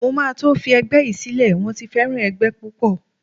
Mo máa tó fi ẹgbẹ́ yí sílẹ̀, wón ti fẹ́ràn ẹgbẹ́ púpọ̀.